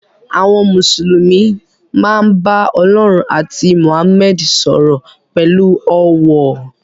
Àwọn Mùsùlùmí máa ń bá Ọlọ́run àti Mohammed sọ̀rọ̀ pẹ̀lú ọ̀wọ̀.